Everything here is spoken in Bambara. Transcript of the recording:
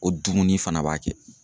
Ko dumuni fana b'a kɛ.